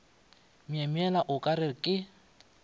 myemyela o ka re ke